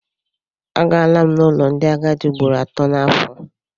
Agara n'ụlọ ndị agadi ugboro atọ n'afọ.